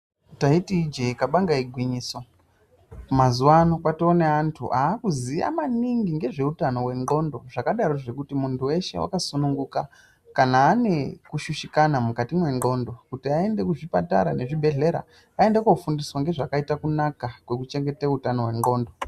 Taiti ijee kabanga igwinyiso mazuvano kwatoo neĺantu aakuziya maningi ngezveutano hwendxondo. Zvakadarozvo muntu weshe wakasununguka kana anekushushikana mukati mwendxondo kuti aende kuzvipatara nezvibhedhlera aende koofundiswa ngezvakaite kunaka kwekuchengete utano hwendxondo.